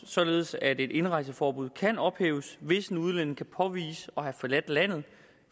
således at et indrejseforbud kan ophæves hvis en udlænding kan påvise at have forladt landet